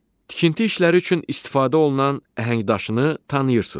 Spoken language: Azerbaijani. Tikinti işləri üçün istifadə olunan əhəngdaşını tanıyırsız?